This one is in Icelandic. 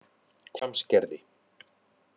Hvammsgerði